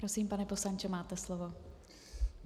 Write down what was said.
Prosím, pane poslanče, máte slovo.